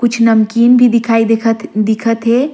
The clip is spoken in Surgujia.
कुछ नमकीन भी दिखाई दिखत हे।